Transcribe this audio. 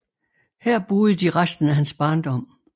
Her boede de resten af hans barndom